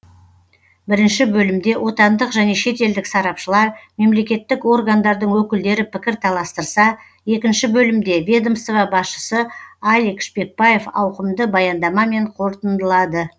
бірінші бөлімде отандық және шетелдік сарапшылар мемлекеттік органдардың өкілдері пікір таластырса екінші бөлімде ведомство басшысы алик шпекбаев ауқымды баяндамамен қорытындылады